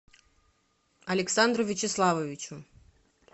александру вячеславовичу